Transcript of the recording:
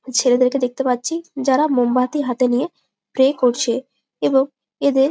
ছেলেদেরকে দেখতে পাচ্ছি যারা মোমবাতি হাতে নিয়ে প্রে করছে এবং এদের--